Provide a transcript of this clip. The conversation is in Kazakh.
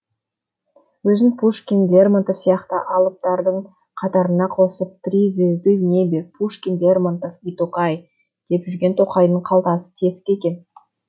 өзін пушкин лермонтов сияқты алыптардың қатарына қосып три звезды в небе пушкин лермонтов и токай деп жүрген тоқайдың қалтасы тесік екен